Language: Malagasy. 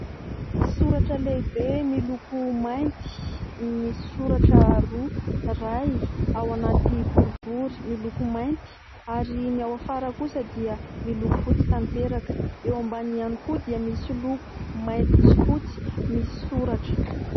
Soratra lehibe miloko mainty misy soratra roa : iray ao anaty boribory miloko mainty, ary ny ao afara kosa dia miloko fotsy tanteraka, eo ambany ihany koa dia misy loko mainty sy fotsy misy soratra.